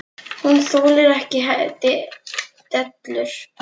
Hún þolir ekki dellur.